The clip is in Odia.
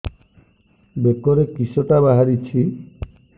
ବେକରେ କିଶଟା ବାହାରିଛି